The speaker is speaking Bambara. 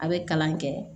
A bɛ kalan kɛ